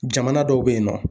Jamana dɔw bɛ yen nɔ.